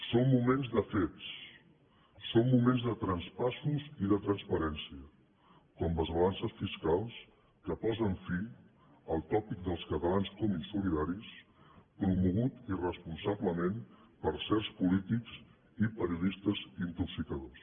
són moments de fets són moments de traspassos i de transparència com les balances fiscals que posen fi al tòpic dels catalans com a insolidaris promogut irresponsablement per certs polítics i periodistes intoxicadors